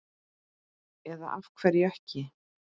Eða af hverju ekki?